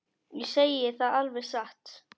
Ég segi það alveg satt.